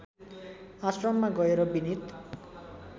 आश्रममा गएर विनीत